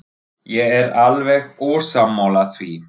Ég er alveg ósammála því.